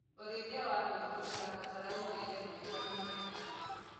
ũrĩithi wa ng'ondu ũrabatara mũrĩre mwegs na maĩ matheru